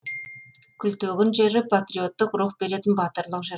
күлтегін жыры париоттық рух беретін батырлық жыр